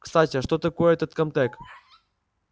кстати а что такое этот камтек